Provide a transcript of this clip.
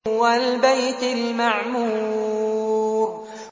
وَالْبَيْتِ الْمَعْمُورِ